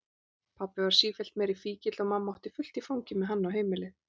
Pabbi varð sífellt meiri fíkill og mamma átti fullt í fangi með hann og heimilið.